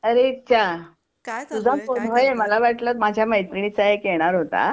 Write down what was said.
अरे च्या! काय चाललंय तुझा फोन होय मला वाटलं माझ्या मैत्रिणीचा एक येणार होता.